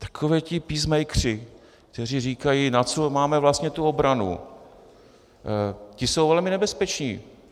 Takoví ti peacemakeři, kteří říkají "Na co máme vlastně tu obranu?" - ti jsou velmi nebezpeční.